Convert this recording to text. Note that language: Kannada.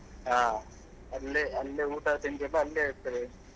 ಹಾ ಅಲ್ಲೇ ಅಲ್ಲೇ ಊಟ ತಿಂಡಿಯೆಲ್ಲ ಅಲ್ಲೇ ಇರ್ತದೆ.